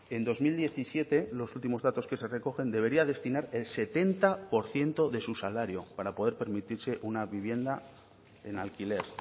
en dos mil diecisiete los últimos datos que se recogen debería destinar el setenta por ciento de su salario para poder permitirse una vivienda en alquiler